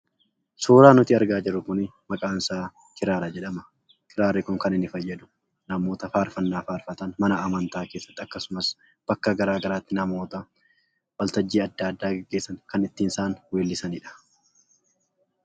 Suuraa nuti argaa jirru kun maqaansaa kiraara jedhama. Kiraarri kun kan inni fayyadu namoota faarfannaa faarfatan mana amantaa keessatti akkasumas bakka garaa garaatti namoota waltajjii adda addaa geggeessan kan ittiin isaan weellisanidha.